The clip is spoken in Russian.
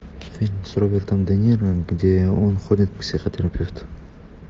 фильм с робертом де ниро где он ходит к психотерапевту